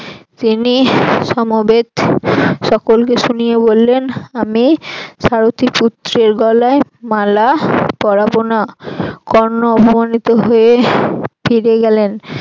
তিনি সমবেত সকলকে শুনিয়ে বললেন আমি সারথি পুত্রের গলায় মালা পরাবো না কর্ণ অপমানিত হয়ে ফিরে গেলেন